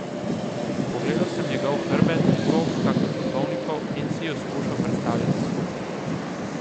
Pogledal sem njegov hrbet, tog kakor duhovnikov, in si ju skušal predstavljati skupaj.